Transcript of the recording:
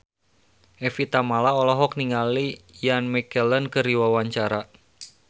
Evie Tamala olohok ningali Ian McKellen keur diwawancara